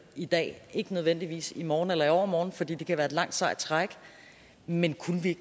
i dag ikke nødvendigvis i morgen eller i overmorgen fordi det kan være et langt sejt træk men kunne vi